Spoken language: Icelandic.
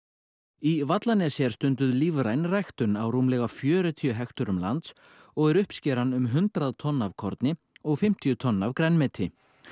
í Vallanesi er stunduð lífræn ræktun á rúmlega fjörutíu hekturum lands og er uppskeran um hundrað tonn af korni og fimmtíu tonn af grænmeti